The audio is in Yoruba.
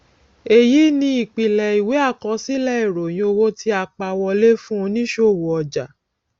èyí ni ìpìlẹ ìwé àkọsílẹ ìròyìn owó tí a pa wọlé fún oníṣòwò ọjà